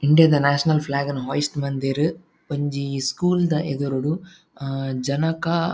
India ದ national flag ನ್ hoist ಮಲ್ದೆರ್ ಒಂಜಿ ಸ್ಕೂಲ್ ದ ಎದುರುಡು ಹಾ ಜನಕಾ--